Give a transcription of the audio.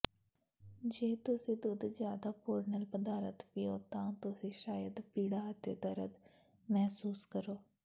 ਜੇ ਤੁਸੀਂ ਦੁੱਧ ਜ਼ਿਆਦਾ ਪੋਰਨਲ ਪਦਾਰਥ ਪੀਓ ਤਾਂ ਤੁਸੀਂ ਸ਼ਾਇਦ ਪੀੜਾ ਅਤੇ ਦਰਦ ਮਹਿਸੂਸ ਕਰੋ